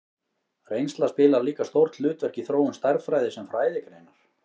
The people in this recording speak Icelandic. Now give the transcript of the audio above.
Reynsla spilar líka stórt hlutverk í þróun stærðfræði sem fræðigreinar.